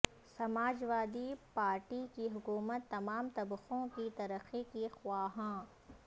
سماج وادی پارٹی کی حکومت تمام طبقوں کی ترقی کی خواہاں